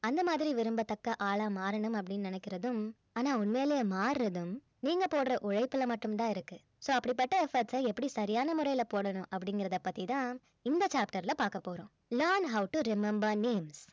அந்த மாதிரி விரும்பத்தக்க ஆளா மாறனும் அப்படின்னு நினைக்கிறதும் ஆனா உண்மையிலேயே மாறுறதும் நீங்க போடுற உழைப்பில மட்டும் தான் இருக்கு so அப்படிபட்ட efforts அ எப்படி சரியான முறையில போடணும் அப்படிங்கறத பத்தி தான் இந்த chapter ல பார்க்க போறோம் learn how to remember names